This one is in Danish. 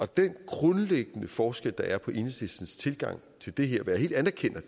den grundlæggende forskel der er på enhedslistens tilgang til det her og det anerkender